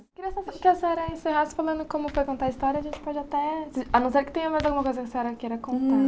Queria saber que a senhora encerrasse falando como foi contar a história, a gente pode até, a não ser que tenha mais alguma coisa que a senhora queira contar.